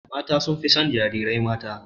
Mata sun fi son jarirai mata.